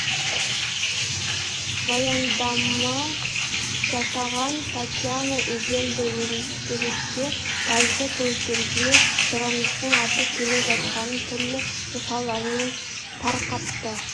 баяндама жасаған татьяна егель де өндірісте газды көліктерге сұраныстың артып келе жатқанын түрлі мысалдармен тарқатты